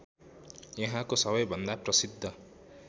यहाँको सबैभन्दा प्रसिद्ध